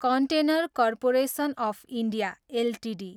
container corporation of India Ltd